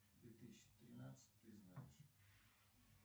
две тысячи тринадцать ты знаешь